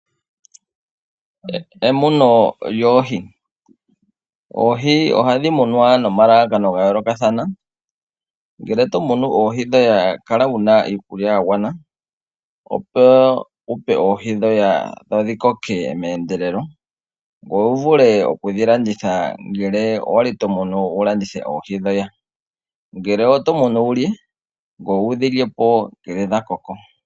Emuno lyoohi Oohi ohadhi munwa nomalalakano ga yoolokathana. Ngele oto munu oohi kala wu na iikulya ya gwana, opo wu pe oohi dhoye dho dhi koke meendelelo, ngoye wu vule okudhi landitha ngele owa li to munu wu landithe oohi dhoye, ngele oto munu wu lye ngoye wu dhi lye po shampa dha koko.